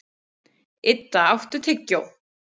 Idda, áttu tyggjó?